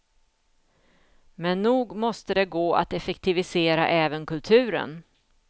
Men nog måste det gå att effektivisera även kulturen.